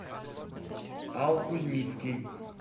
ал кузьмицкий